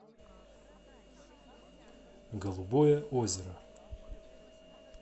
голубое озеро